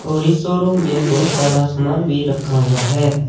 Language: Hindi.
और इस शोरूम में बहुत सारा सामान भी रखा हुआ है।